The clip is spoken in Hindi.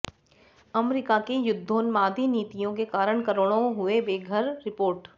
अमरीका की युद्धोन्मादी नीतियों के कारण करोड़ों हुए बेघरः रिपोर्ट